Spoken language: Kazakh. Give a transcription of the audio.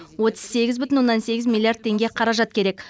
отыз сегіз бүтін оннан сегіз миллиард теңге қаражат керек